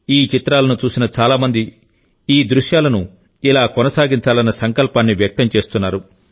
ఈ చిత్రాలను చూసిన చాలా మంది ఈ దృశ్యాలను ఇలా కొనసాగించాలన్నసంకల్పాన్ని వ్యక్తం చేస్తున్నారు